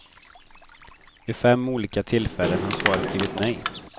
Vid fem olika tillfällen har svaret blivit nej.